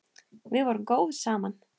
Við vorum góð saman.